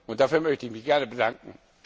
Und dafür möchte ich mich gerne bedanken!